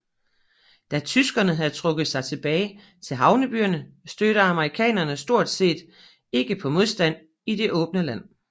Da tyskerne havde trukket sig tilbage til havnebyerne stødte amerikanerne stort set ikke på modstand i det åbne land